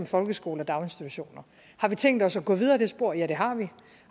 folkeskoler og daginstitutioner har vi tænkt os at gå videre ad det spor ja det har vi